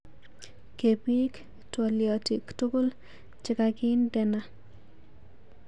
Kebik twoliotik tukul chekakindena.